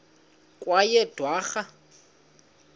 kweyedwarha